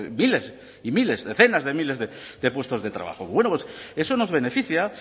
miles y miles decenas de miles de puestos de trabajo bueno pues eso nos beneficia